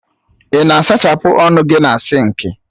Ị na-asachapụ ọnụ gị na sinki